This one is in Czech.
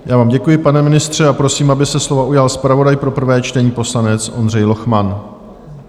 Já vám děkuji, pane ministře, a prosím, aby se slova ujal zpravodaj pro prvé čtení poslanec Ondřej Lochman.